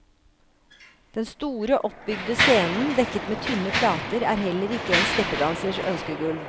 Den store, oppbygde scenen, dekket med tynne plater, er heller ikke en steppdansers ønskegulv.